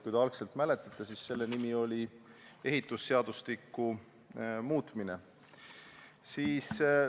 Kui te mäletate, siis algselt nimetati seda ehitusseadustiku muutmiseks.